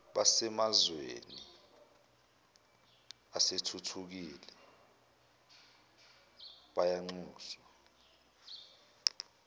basemazweni asethuthukile bayanxuswa